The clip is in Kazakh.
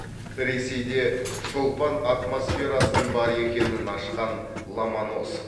ресейде шолпан атмосферасының бар екенін ашқан ломоносов